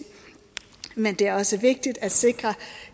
men det er også vigtigt at sikre